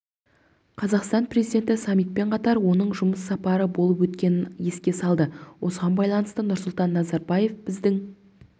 қазақстан президенті саммитпен қатар оның жұмыс сапары болып өткенін еске салды осыған байланысты нұрсұлтан назарбаев біздің